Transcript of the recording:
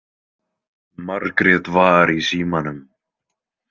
Margrét var í símanum.